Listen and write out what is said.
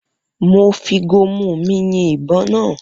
Mo fi gomu mi yin ibon naa